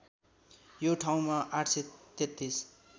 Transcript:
यो ठाउँमा ८३३